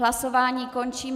Hlasování končím.